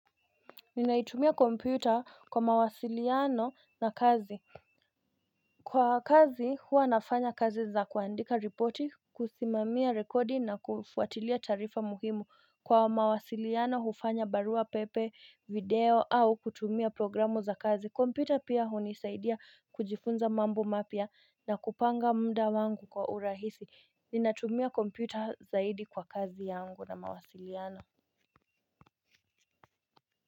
Ninaitumia kompyuta kwa mawasiliano na kazi. Kwa kazi huwa nafanya kazi za kuandika ripoti kusimamia rekodi na kufuatilia taarifa muhimu kwa mawasiliano hufanya barua pepe video au kutumia programu za kazi kompyuta pia hunisaidia kujifunza mambo mapya na kupanga muda wangu kwa urahisi. Ninatumia kompyuta zaidi kwa kazi yangu na mawasiliano.